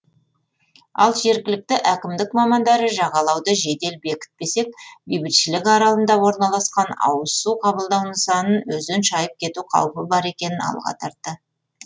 ал жергілікті әкімдік мамандары жағалауды жедел бекітпесек бейбітшілік аралында орналасқан ауыз су қабылдау нысанын өзен шайып кету қаупі бар екенін алға тартты